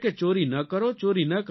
ચોરી ન કરો ચોરી ન કરો